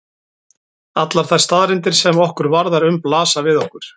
Allar þær staðreyndir sem okkur varðar um blasa við okkur.